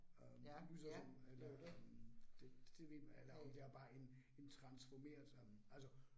Øh lyser sådan eller om det det ved eller om det er bare en en transformeret øh altså